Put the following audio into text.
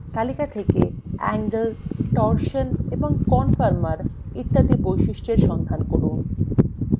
তালিকা থেকে angle torsion এবং conformer মত অন্যান্য বৈশিষ্ট্যের সন্ধান করুন